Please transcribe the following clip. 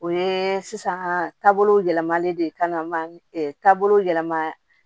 O ye sisan taabolo yɛlɛmalen de ye ka na taabolo yɛlɛma